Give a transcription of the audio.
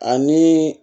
Ani